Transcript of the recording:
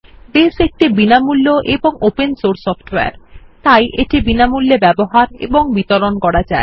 base একটি বিনামূল্য এবং ওপেন সোর্স সফ্টওয়্যার তাই এটি বিনামূল্যে ব্যবহার এবং বিতরণ করা যায়